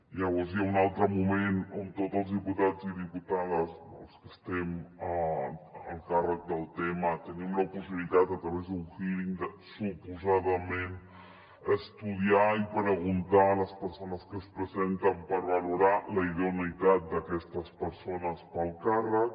llavors hi ha un altre moment on tots els diputats i diputades els que estem al càrrec del tema tenim la possibilitat a través d’un hearing de suposadament estudiar i preguntar a les persones que es presenten per valorar la idoneïtat d’aquestes persones per al càrrec